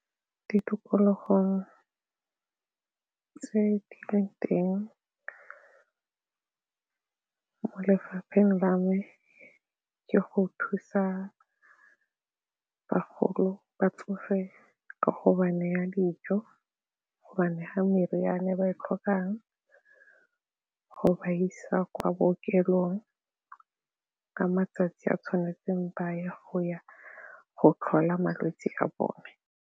Ditokologong tse di le teng lefapheng la me ke go thusa bagolo, batsofe ka go ba neya dijo gobane ga meriane ba e tlhokang go ba isa kwa bookelong ka matsatsi a tshwanetseng ba ya go ya go tlhola malwetse a bone.